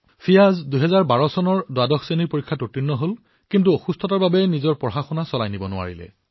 ফিয়াজে ২০১২ চনত দ্বাদশ শ্ৰেণীৰ পৰীক্ষাত উত্তীৰ্ণ হৈছিল কিন্তু ৰোগৰ বাবে তেওঁ নিজৰ অধ্যয়ন অব্যাহত ৰাখিব নোৱাৰিলে